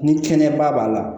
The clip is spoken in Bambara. Ni kɛnɛya ba b'a la